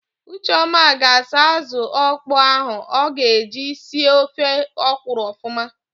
Ucheọma ga-asa ázụ̀ ọkpọọ ahụ o ga-eji si ofe ọkwụrụ ọfụma.